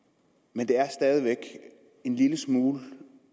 men det er stadig væk en lille smule